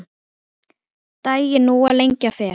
Daginn nú að lengja fer.